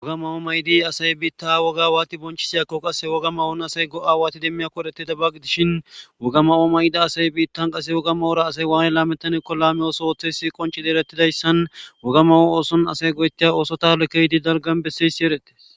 Wogama oo mayidi asay biitta woga awaati bonchisiyakko qass woga mawoon asay go'a waati demmiya koedhete da baqi dishin wogama7oo mayida asay biittan qase woga mawura asay waay laamettani kolameyoso oththeysi qoncidi erettidayssan wogama o ooson asay goyetteya ooso talo keydi dalgan besseysi erette.